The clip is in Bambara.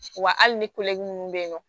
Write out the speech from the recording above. Wa hali ni minnu bɛ yen nɔ